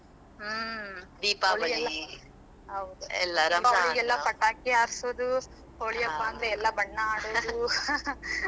ಹ್ಮ್ . ಹೌದ್. ದೀಪಾಳಿಗೆಲ್ಲಾ ಪಟಾಕಿ ಹಾರ್ಸೋದು, ಹೋಳಿ ಹಬ್ಬ ಎಲ್ಲಾ, ಬಣ್ಣಾ ಆಡೋದು .